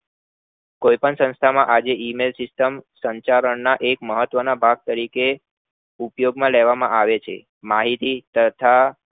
કોઈ પણ સંસ્થા માં આજે email system ના સંચરણ માં એક મહત્વ ના રીતે ઉપયોગ માં લેવામાં આવે છે માહિતી તથા